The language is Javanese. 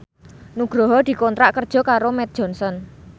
Nugroho dikontrak kerja karo Mead Johnson